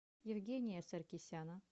евгения саркисяна